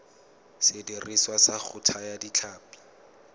sediriswa sa go thaya ditlhapi